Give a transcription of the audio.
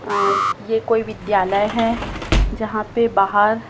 अं ये कोई विद्यालय है जहां पे बाहर--